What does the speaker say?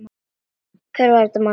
Hvað er að þér, maður?